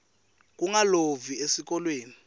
kungalovi esikolweni